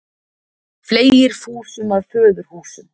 Fleygir fúsum að föðurhúsum.